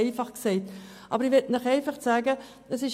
Das ist relativ einfach gesagt.